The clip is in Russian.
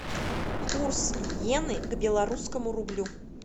курс йены к белорусскому рублю